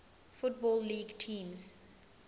football league teams